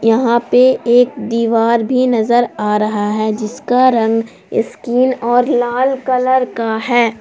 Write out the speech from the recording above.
यहां पे एक दीवार भी नजर आ रहा है जिसका रंग स्किन और लाल कलर का है।